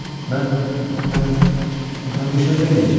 Mən mən mən bir söz deməyəcəm.